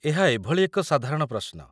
ଏହା ଏଭଳି ଏକ ସାଧାରଣ ପ୍ରଶ୍ନ